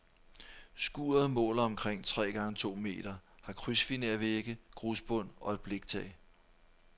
Skuret måler omkring tre gange to meter, har krydsfinervægge, grusbund og et bliktag.